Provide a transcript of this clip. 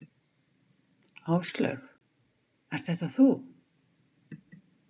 Áslaug, ert þetta þú?